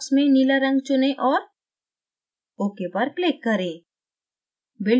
box में नीला in चुनें और ok पर click करें